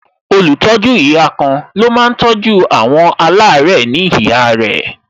Olùtọ́jú ihà kan ló máa tọ́jú àwọn alare ní ihà rẹ